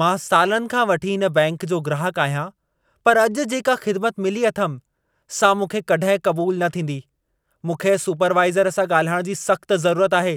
मां सालनि खां वठी हिन बैंकि जो ग्राहकु आहियां, पर अॼु जेका ख़िदमत मिली अथमि सां मूंखे कॾहिं क़बूल न थींदी। मूंखे सुपरवाइज़र सां ॻाल्हाइण जी सख़्त ज़रूरत आहे।